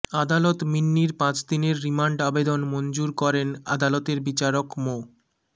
আদালত মিন্নির পাঁচদিনের রিমান্ড আবেদন মঞ্জুর করেন আদালতের বিচারক মো